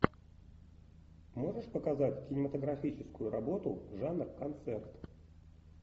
можешь показать кинематографическую работу жанр концерт